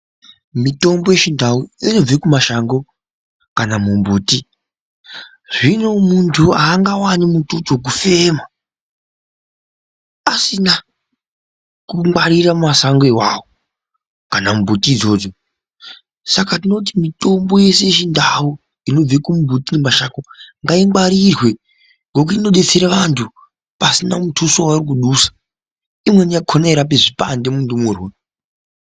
Mitombo yechindau inobve kumashango kana mumbuti. Zvino muntu haangawani mututu wokufema asina kungwarira masango iwawo kana mumbuti idzodzo. Saka tinoti mitombo yese yechindau inobve kumbuti nemashango ngaingwarirwe ngokuti inodetsere vantu pasina mutuso waari kudusa. Imweni yakona yeirape zvipande mundumurwa.